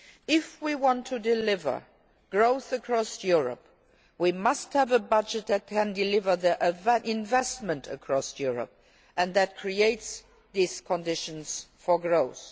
If we want to deliver growth across Europe, we must have a budget that can deliver investment across Europe and that creates these conditions for growth.